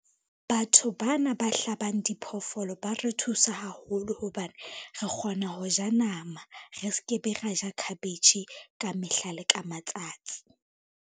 Batho bana ba hlabang diphoofolo ba re thusa haholo hobane re kgona ho ja nama, re ske be ra ja khabetjhe ka mehla le ka matsatsi.